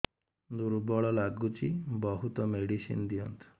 ଦୁର୍ବଳ ଲାଗୁଚି ବହୁତ ମେଡିସିନ ଦିଅନ୍ତୁ